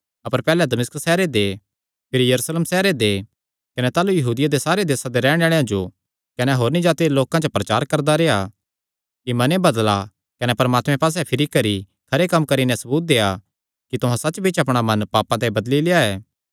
अपर पैहल्लैं दमिश्क सैहरे दे भिरी यरूशलेम सैहरे दे कने ताह़लू यहूदिया दे सारे देसां दे रैहणे आल़ेआं जो कने होरनी जाति दे लोकां च प्रचार करदा रेह्आ कि मने बदला कने परमात्मे पास्से फिरी करी खरे कम्म करी नैं सबूत देआ कि तुहां सच्च बिच्च अपणा मन पापां ते बदली लेआ ऐ